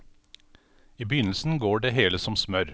I begynnelsen går det hele som smør.